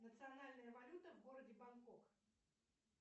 национальная валюта в городе бангкок